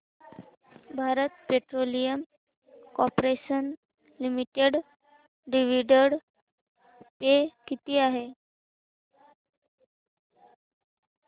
Bharat petroleum corporation limited dividend पे किती आहे